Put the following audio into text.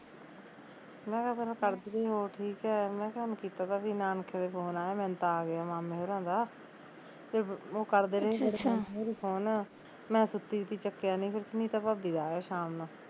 ਮੈਂ ਕਿਹਾਂ ਪਹਿਲਾਂ ਕਰਦੀ ਰਹੀ ਹੋਰ ਠੀਕ ਐ ਮੈਂ ਕਿਹਾਂ ਮੈਂ ਕੀਤਾ ਤਾ ਵੀ ਨਾਨਕਿਆ ਤੇ phone ਆਇਆ, ਮੈਨੂੰ ਤਾਂ ਆਗਿਆ ਮਾਮੇ ਹੁਰਾਂ ਦਾ ਤੇ ਓਹ ਕਰਦੇ ਰਹੇ ਵਾਰੀ ਵਾਰੀ phone ਮੈਂ ਸੁੱਤੀ ਪਈ ਤੀ ਚੱਕਿਆ ਨੀ ਫਿਰ ਸੁਨੀਤਾ ਭਾਬੀ ਦਾ ਆਇਆ ਸ਼ਾਮ ਨੂੰ